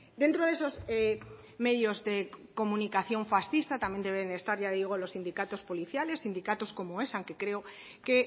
dentro de esos medios de comunicación fascistas también deben estar ya digo los sindicatos policiales sindicatos como esan que creo que